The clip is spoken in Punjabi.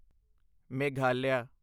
ਮੇਘਾਲਿਆ